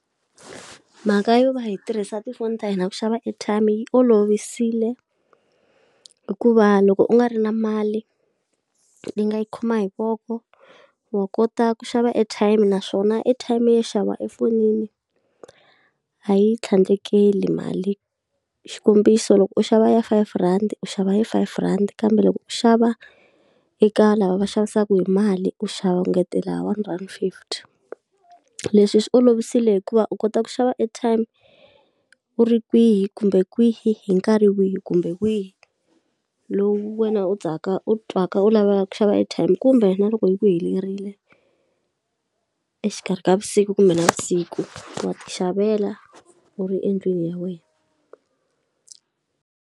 Mhaka yo va yi tirhisa tifoni ta hina ku xava airtime yi olovisile hikuva loko u nga ri na mali, u yi nga yi khoma hi voko wa kota ku xava airtimenaswona airtime yo xava efonini a yi tlhandlekeli mali, xikombiso loko u xava ya five rhandi u xava ya five rand, kambe loko u xava eka lava va xavisaka hi mali u xava u ngetela one rand fifty. Leswi swi olovile hikuva u kota ku xava airtime u ri kwihi kumbe kwihi hi nkarhi wihi kumbe wihi, lowu wena u u twaka u lavaka ku xava airtime kumbe na loko yi ku helerile exikarhi ka vusiku kumbe navusiku wa ti xavela u ri endlwini ya wena.